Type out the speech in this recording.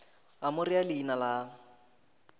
a mo rea leina la